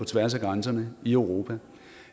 tværs af grænserne i europa